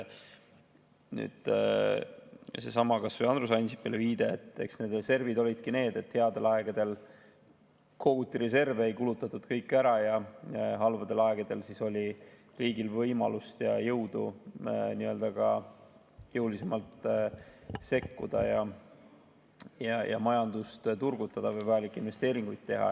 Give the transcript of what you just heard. Kas või seesama viide Andrus Ansipile – need reservid olidki nii, et headel aegadel koguti reserve, ei kulutatud kõiki ära, ja halbadel aegadel oli riigil võimalust ja jõudu ka jõulisemalt sekkuda ja majandust turgutada või vajalikke investeeringuid teha.